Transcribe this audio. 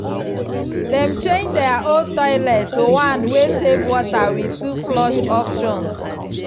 dem change their old toilet to one wey save water with two flush options.